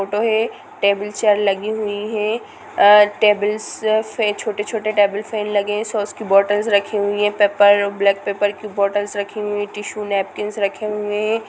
Photo है table chair लगी हुई है अ -टेबलस पे छोटे-छोटे टेबल फेन लगे सॉस की बॉटल्स रखी हुई है पेपर और ब्लैक पेपर की बॉटल्स रखी हुई है टिशू नैपकिन्स रखे हुए है।